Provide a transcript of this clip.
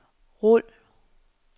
rul